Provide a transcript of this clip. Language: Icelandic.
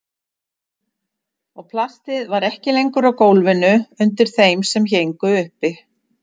Og plastið var ekki lengur á gólfinu undir þeim sem héngu uppi.